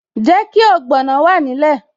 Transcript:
Jẹ́ kí ogbono wà nílẹ̀